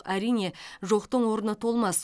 әрине жоқтың орны толмас